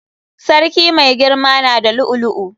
Sarki mai girama na da lu'u lu'u.